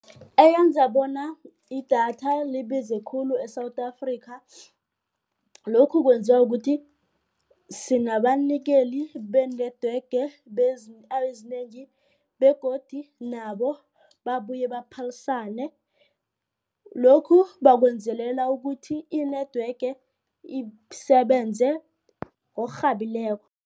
Eyenza bona idatha libize khulu eSouth Africa. Lokhu kwenziwa ukuthi sinabanikeli benetwork ezinengi begodu nabo babuye baphalisane. Lokhu bakwenzelela ukuthi i-network isebenze ngokurhabileko.